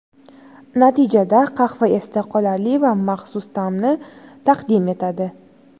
Natijada qahva esda qolarli va maxsus ta’mni taqdim etadi.